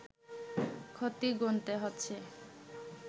ক্ষতি গুনতে হচ্ছে